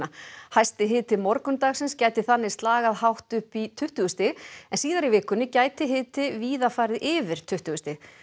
hæsti hiti morgundagsins gæti þannig slagað hátt upp í tuttugu stig en síðar í vikunni gæti hiti víða farið yfir tuttugu stig